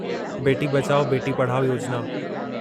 बेटी बचाओ, बेटी पढ़ाओ योजिना